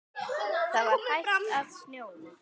Það var hætt að snjóa.